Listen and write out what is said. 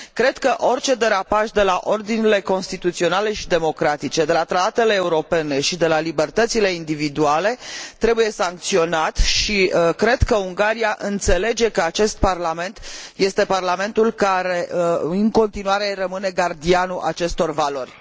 Cred că orice derapaj de la ordinile constituționale și democratice, de la tratatele europene și de la libertățile individuale trebuie sancționat și cred că Ungaria înțelege că acest Parlament este Parlamentul care, în continuare, rămâne gardianul acestor valori.